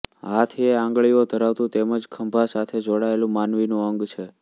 હાથ એ આંગળીઓ ધરાવતું તેમ જ ખભા સાથે જોડાયેલું માનવીનું અંગ છે